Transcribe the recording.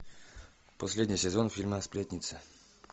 последний сезон фильма сплетница